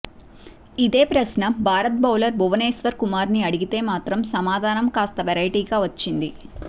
ఇదే ప్రశ్న భారత బౌలర్ భువనేశ్వర్ కుమార్ను అడిగితే మాత్రం సమాధానం కాస్త వెరైటీగా వచ్చింది